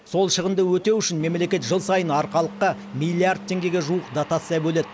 сол шығынды өтеу үшін мемлекет жыл сайын арқалыққа миллиард теңгеге жуық дотация бөледі